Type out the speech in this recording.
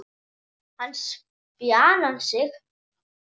Hann spjarar sig.